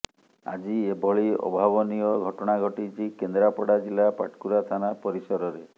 ଆଜି ଏଭଳି ଅଭାବନୀୟ ଘଟଣା ଘଟିଛି କେନ୍ଦ୍ରାପଡା ଜିଲ୍ଲା ପାଟକୁରା ଥାନା ପରିସରରେ